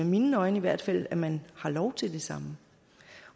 mine øjne i hvert fald at man har lov til det samme